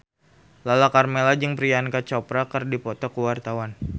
Lala Karmela jeung Priyanka Chopra keur dipoto ku wartawan